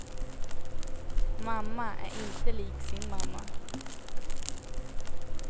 Mamma är inte lik sin mamma.